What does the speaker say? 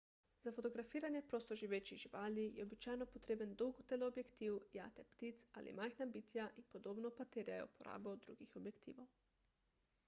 za fotografiranje prostoživečih živali je običajno potreben dolg teleobjektiv jate ptic ali majhna bitja in podobno pa terjajo uporabo drugih objektivov